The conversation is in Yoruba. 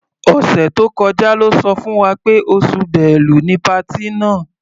Ọ̀sẹ̀ tó kọjá lọ́ sọ fún wa pé oṣù Bẹ́lu ni patí náà.